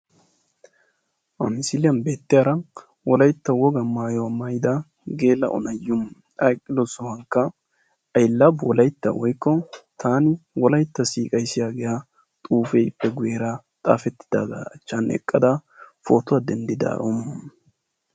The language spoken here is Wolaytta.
Ha misiliyan beettiyaara wolaytta wogaa maayuwa maayida geela"o na"iyoo. A eqqidosankka "I love wolaytta woykko taani wolaytta siiqays" yaagiyaa xuufeekka guyyeera xaafettidaagaa achchan eqqada pootuwaa denddidaaro.